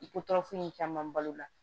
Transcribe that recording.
I ko tɔɔrɔ foyi caman balo la